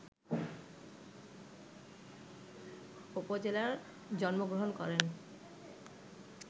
উপজেলায় জন্মগ্রহণ করেন